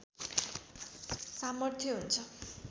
सामर्थ्य हुन्छ